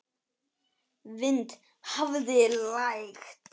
Vind hafði lægt.